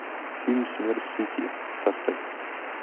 фильм смерть в сети поставь